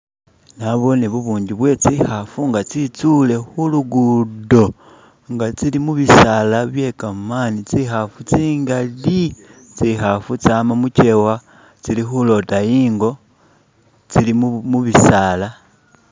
Naboone bubungi bwetsikhafu nga tsitsule khulugudo nga tsili mubisala byekamani, tsikhafu tsingali! tsikhafu tsama mukewa tsili khulota i'ngo tsili mubisala.